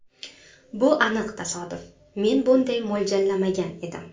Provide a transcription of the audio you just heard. Bu aniq tasodif, men bunday mo‘ljallamagan edim.